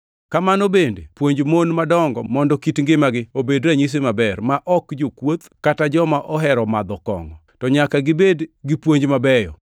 Kamano bende puonj mon madongo mondo kit ngimagi obed ranyisi maber, ma ok jokuoth, kata joma ohero madho kongʼo, to nyaka gibed gi puonj mabeyo.